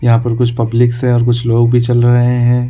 यहाँ पर कुछ पब्लिक्स है और कुछ लोग भी चल रहै है।